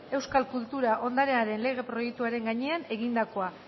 euskal kultura ondarearen lege proiektuaren gainean egindakoa